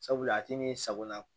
Sabula a ti min sagona